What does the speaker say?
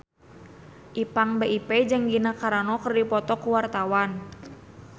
Ipank BIP jeung Gina Carano keur dipoto ku wartawan